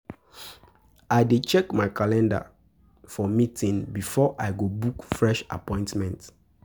I dey check my calendar for meeting before I go book fresh appointment.